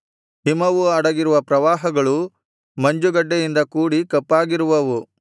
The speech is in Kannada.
ಹಿಮವು ಅಡಗಿರುವ ಪ್ರವಾಹಗಳು ಮಂಜುಗಡ್ಡೆಯಿಂದ ಕೂಡಿ ಕಪ್ಪಾಗಿರುವವು